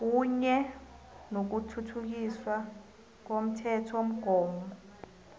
kunye nokuthuthukiswa komthethomgomo